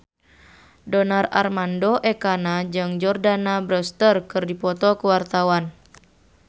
Donar Armando Ekana jeung Jordana Brewster keur dipoto ku wartawan